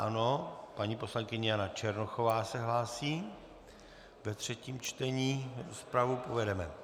Ano, paní poslankyně Jana Černochová se hlásí ve třetím čtení, rozpravu povedeme.